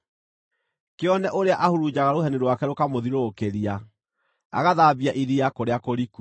Kĩone ũrĩa ahurunjaga rũheni rwake rũkamũthiũrũrũkĩria, agathambia iria kũrĩa kũriku.